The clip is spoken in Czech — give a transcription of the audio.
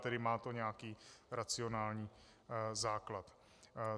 Tedy má to nějaký racionální základ.